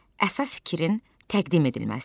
Əsas fikrin təqdim edilməsi.